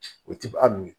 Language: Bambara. O ti hali